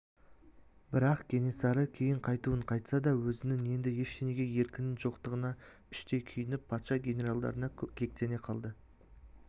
бірақ кенесары кейін қайтуын қайтса да өзінің енді ештеңеге еркінің жоқтығына іштей күйініп патша генералдарына кектене қалды